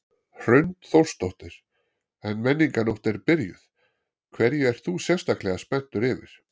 Hrund Þórsdóttir: En Menningarnótt er byrjuð, hverju ert þú sérstaklega spenntur yfir?